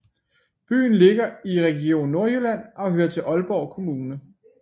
Byen ligger i Region Nordjylland og hører til Aalborg Kommune